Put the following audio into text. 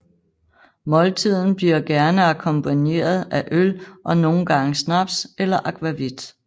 Måltiden bliver gerne akkompagneret af øl og nogle gange snaps eller akvavit